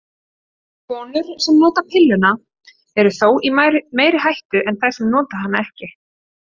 Konur sem nota pilluna eru þó í meiri hættu en þær sem nota hana ekki.